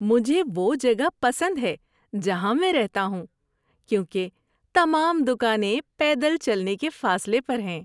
مجھے وہ جگہ پسند ہے جہاں میں رہتا ہوں کیونکہ تمام دکانیں پیدل چلنے کے فاصلے پر ہیں۔